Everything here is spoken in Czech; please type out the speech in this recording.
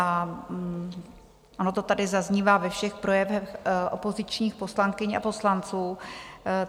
A ono to tady zaznívá ve všech projevech opozičních poslankyň a poslanců.